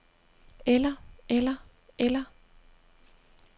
eller eller eller